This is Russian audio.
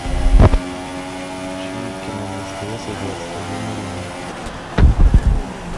включи кино на стс в двадцать один ноль ноль